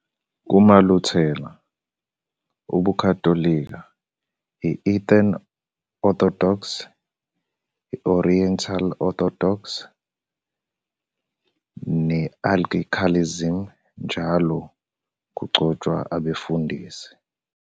KumaLuthela, ubuKhatholika, i- Eastern Orthodox, i- Oriental Orthodoxy ne- Anglicanism, njalo kugcotshwa abefundisi.